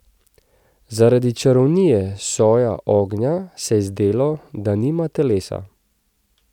Zaradi čarovnije soja ognja se je zdelo, da nima telesa.